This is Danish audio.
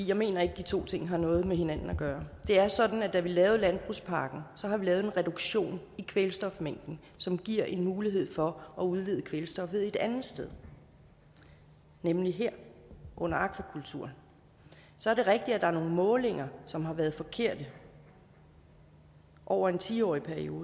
jeg mener ikke at de to ting har noget med hinanden at gøre det er sådan at da vi lavede landbrugspakken har vi lavet en reduktion i kvælstofmængden som giver en mulighed for at udlede kvælstof et andet sted nemlig her under akvakulturen så er det rigtigt at der er nogle målinger som har været forkerte over en ti årig periode